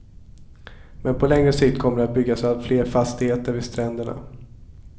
Men på längre sikt kommer det att byggas allt fler fastigheter vid stränderna.